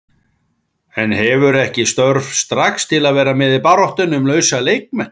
En hefurðu ekki störf strax til að vera með í baráttunni um lausa leikmenn?